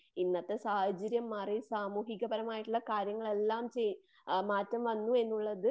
ഇന്നത്തെ സാഹചര്യം മാറി. സാമൂഹിക പരമായിട്ടുള്ള കാര്യങ്ങളെല്ലാം മാറ്റം വന്നു എന്നുള്ളത്